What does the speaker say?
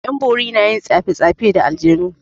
'Yan bori na yin tsafe tsafe da aljanu.